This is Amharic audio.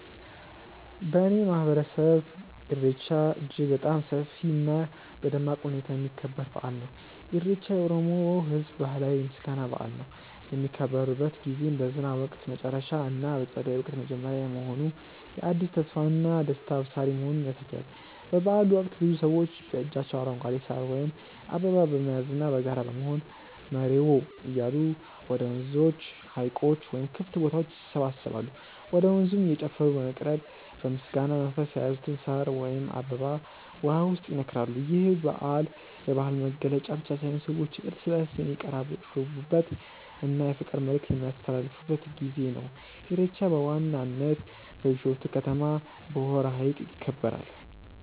በእኔ ማህበረሰብ ኢሬቻ እጅግ በጣም በሰፊ እና በደማቅ ሁኔታ የሚከበር በአል ነው። ኢሬቻ የኦሮሞ ህዝብ ባህላዊ የምስጋና በአል ነው። የሚከበርበት ጊዜም በዝናብ ወቅት መጨረሻ እና በፀደይ ወቅት መጀመሪያ መሆኑ የአዲስ ተስፋና ደስታ አብሳሪ መሆኑን ያሳያል። በበአሉ ወቅት ብዙ ሰዎች በእጃቸው አረንጓዴ ሳር ወይም አበባ በመያዝና በጋራ በመሆን "መሬዎ" እያሉ ወደ ወንዞች፣ ሀይቆች ወይም ክፍት ቦታዎች ይሰባሰባሉ። ወደ ወንዙም እየጨፈሩ በመቅረብ በምስጋና መንፈስ የያዙትን ሳር ወይም አበባ ውሃው ውስጥ ይነክራሉ። ይህ በዓል የባህል መገለጫ ብቻ ሳይሆን ሰዎች እርስ በእርስ የሚቀራረቡበት እና የፍቅር መልዕክት የሚያስተላልፉበት ጊዜ ነው። ኢሬቻ በዋናነት በቢሾፍቱ ከተማ በሆራ ሀይቅ ይከበራል።